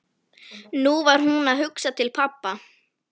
Nú var hún að hugsa til pabba.